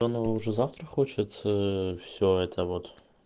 то она уже завтра хочет все это вот